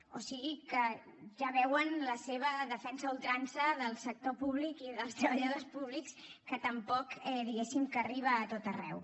o sigui que ja veuen la seva defensa a ultrança del sector públic i dels treballadors públics que tampoc diguem ne arriba a tot arreu